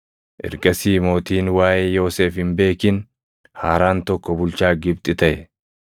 Ergasii ‘Mootiin waaʼee Yoosef hin beekin haaraan tokko bulchaa Gibxi taʼe.’